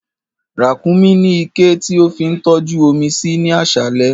Rákúnmí ní iké tí ó fi ń tọ́jú omi sí ní aṣálẹ̀